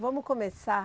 Vamos começar.